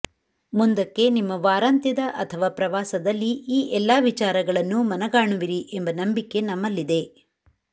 ಮುಂದಕ್ಕೆ ನಿಮ್ಮ ವಾರಂತ್ಯದ ಅಥವಾ ಪ್ರವಾಸದಲ್ಲಿ ಈ ಎಲ್ಲ ವಿಚಾರಗಳನ್ನು ಮನಗಾನುವಿರಿ ಎಂಬ ನಂಬಿಕೆ ನಮ್ಮಲ್ಲಿದೆ